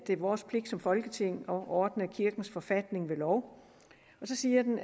det er vores pligt som folketing at ordne kirkens forfatning ved lov og så siger den